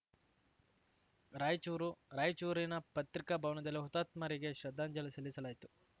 ರಾಯಚೂರು ರಾಯಚೂರಿನ ಪತ್ರಿಕಾ ಭವನದಲ್ಲಿ ಹುತಾತ್ಮರಿಗೆ ಶ್ರದ್ಧಾಂಜಲಿ ಸಲ್ಲಿಸಲಾಯಿತು